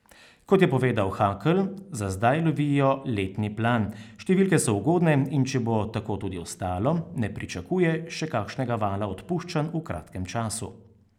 Kot je povedal Hakl, za zdaj lovijo letni plan, številke so ugodne in če bo tako tudi ostalo, ne pričakuje še kakšnega vala odpuščanj v kratkem času.